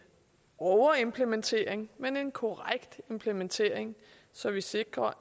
overimplementering men en korrekt implementering så vi sikrer